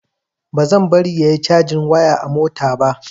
Bazan bari yayi cajin waya a mota ba.